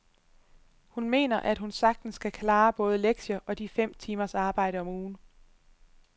Hun mener, at hun sagtens kan klare både lektier og de fem timers arbejde om ugen.